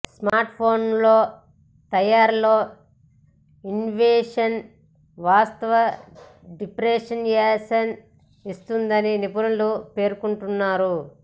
smart ఫోన్ల తయారీలో innovation వాస్తవ డిఫరెన్సియేషన్ ఇస్తుందని నిపుణులు పేర్కొంటున్నారు